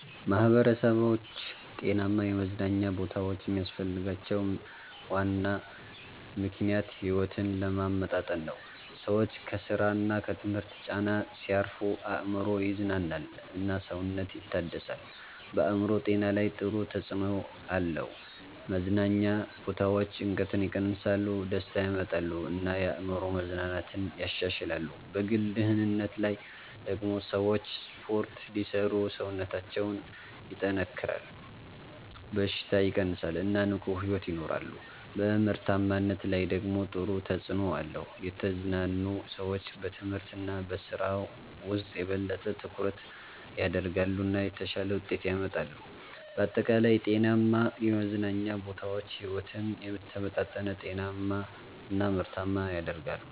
ማህበረሰቦች ጤናማ የመዝናኛ ቦታዎች የሚያስፈልጋቸው ዋና ምክንያት ሕይወትን ለማመጣጠን ነው። ሰዎች ከስራ እና ከትምህርት ጫና ሲያርፉ አእምሮ ይዝናናል እና ሰውነት ይታደሳል። በአእምሮ ጤና ላይ ጥሩ ተጽዕኖ አለው። መዝናኛ ቦታዎች ጭንቀትን ይቀንሳሉ፣ ደስታ ያመጣሉ እና የአእምሮ መዝናናትን ያሻሽላሉ። በግል ደህንነት ላይ ደግሞ ሰዎች ስፖርት ሲሰሩ ሰውነታቸው ይጠናከራል፣ በሽታ ይቀንሳል እና ንቁ ሕይወት ይኖራሉ። በምርታማነት ላይ ደግሞ ጥሩ ተጽዕኖ አለው። የተዝናኑ ሰዎች በትምህርት እና በስራ ውስጥ የበለጠ ትኩረት ያደርጋሉ እና የተሻለ ውጤት ያመጣሉ። በአጠቃላይ ጤናማ የመዝናኛ ቦታዎች ሕይወትን የተመጣጠነ፣ ጤናማ እና ምርታማ ያደርጋሉ።